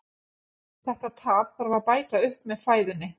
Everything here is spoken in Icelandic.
Þetta tap þarf að bæta upp með fæðunni.